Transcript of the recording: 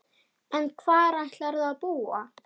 En hvar ætlarðu að búa?